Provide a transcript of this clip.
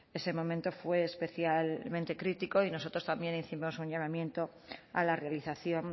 ese momento fue especialmente crítico y nosotros también hicimos un llamamiento a la realización